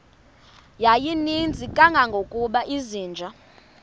yayininzi kangangokuba izinja